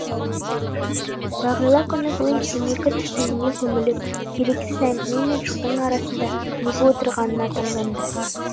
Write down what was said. бағила күні бойы темекі түтініне көміліп керексіз әңгіме мен шудың арасында неге отырғанына таңданды